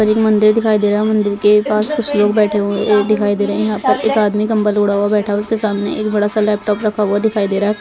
और एक मंदिर दिखाई दे रहा है मंदिर के पास कुछ लोग बैठे हुए ए दिखाई दे रहे है यहाँ पर एक आदमी कम्बल ओढ़ा हुआ बैठाउसके सामने एक बडा सा लैपटॉप रखा हुआ दिखाई दे रहा है।